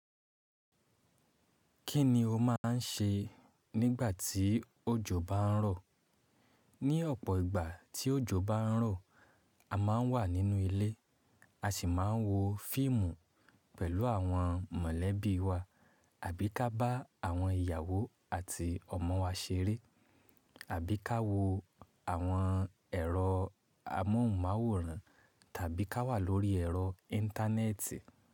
Kí ni o máà ń ṣe nígbà tí òjò bá ń rọ̀? Ní ọ̀pọ̀ ìgbà tí òjò bá ń rọ̀, a má ń wà nínú ilé, a sì má ń wo fíìmù pẹ̀lú àwọn mọ̀lẹ́bí wa, àbí ka bá àwọn ìyàwó àti ọmọ wa ṣeré, àbí ká wo àwọn ẹ̀rọ amóhùnmáwòrán tàbí ká wà lórí ẹ̀rọ íńtánẹ́ẹ̀tì.